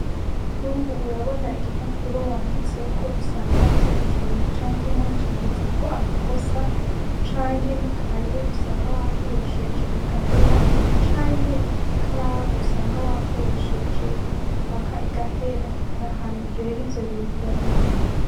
Nk'ubu urabona igipapuro wanditseko usanga utagikeneye, canke wacanditseko amakosa, canke n'ikaye usanga wakoresheje igahera, canke ikaramu usanga wakoresheje mpaka igahera, hari ahantu rero ivyo bintu babita.